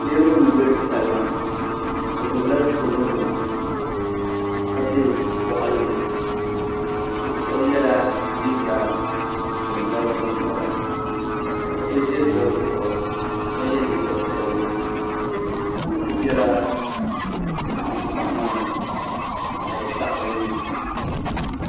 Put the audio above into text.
Niraba n gbiri salima bi gbubila soobuli nima ka bɛ boɣali ni bi shab yɛla liiga gungaba gingaba ka so ʒɛ zoli zuɣu ka yɛ liiga piɛlli bi ku biɛla tankpaɣu maa ni ka di daɣa bi ni